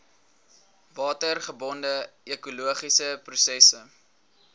watergebonde ekologiese prosesse